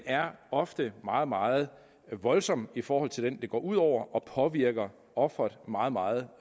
er ofte meget meget voldsom i forhold til den det går ud over og påvirker ofret meget meget